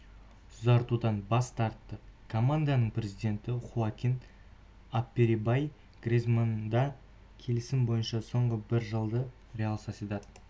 ұзартудан бас тартты команданың президенті хоакин аперрибай гризманнды келісім бойынша соңғы бір жылды реал сосьедад